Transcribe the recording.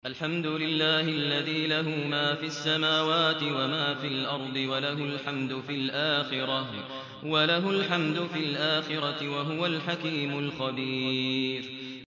الْحَمْدُ لِلَّهِ الَّذِي لَهُ مَا فِي السَّمَاوَاتِ وَمَا فِي الْأَرْضِ وَلَهُ الْحَمْدُ فِي الْآخِرَةِ ۚ وَهُوَ الْحَكِيمُ الْخَبِيرُ